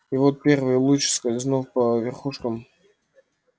и вот первый луч скользнув по верхушкам